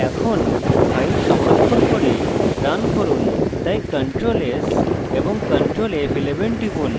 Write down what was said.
এখন file সংরক্ষণ করে run run তাই ctrl s এবং ctrl f11 টিপুন